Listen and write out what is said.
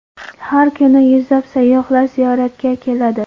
Har kuni yuzlab sayyohlar ziyoratga keladi.